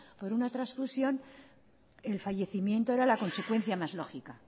por una transfusión el fallecimiento era la consecuencia más lógica